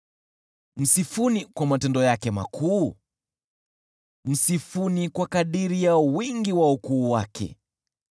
Msifuni kwa matendo yake makuu, msifuni kwa kadiri ya wingi wa ukuu wake.